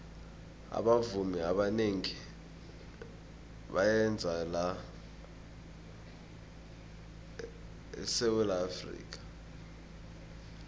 abavumi abanengi bayeza la esawula afrika